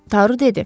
Daro dedi.